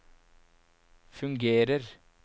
fungerer